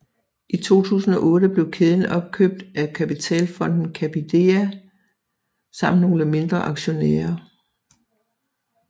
I 2008 blev kæden opkøbt af kapitalfonden Capidea samt nogle mindre aktionærer